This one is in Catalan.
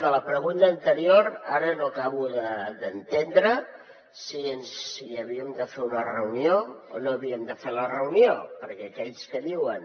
de la pregunta anterior ara no acabo d’entendre si havíem de fer una reunió o no havíem de fer la reunió perquè aquells que diuen